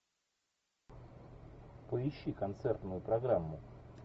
поищи концертную программу